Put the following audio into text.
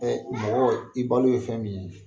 mɔgɔ i balo ye fɛn min ye.